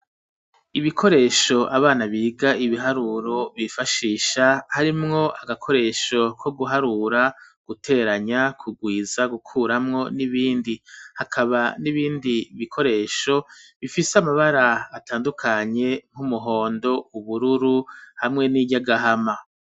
Ibikoresho abana biga ibiharuro bifashisha, harimwo agakoresho ko guharura, guteranya, kugwiza, gukuramwo n'ibindi; hakaba n'ibindi bikoresho bifise amabara atandukanye nk'umuhondo, ubururu, hamwe n'iry'agahama.